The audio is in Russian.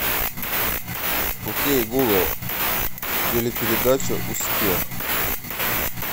ок гугл телепередача успех